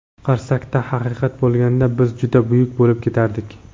Qarsakda haqiqat bo‘lganda biz juda buyuk bo‘lib ketardik.